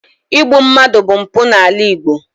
Igbu mmadụ bụ mpụ n’ala Igbo.